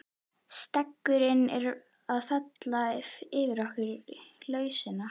Steggurinn er að fela fyrir okkur lausnina.